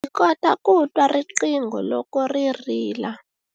Ndzi kota ku twa riqingho loko ri rila.